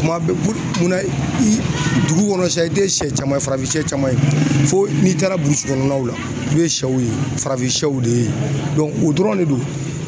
Tuma bɛɛ pul mun na i dugu kɔnɔ sa i te sɛ caman ye farafin sɛ caman ye fo n'i taara burusi kɔnɔnaw la i be sɛw ye farafin sɛw de yen o dɔrɔn de don.